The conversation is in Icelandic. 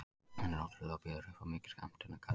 Hann er ótrúlegur og býður upp á mikið skemmtanagildi.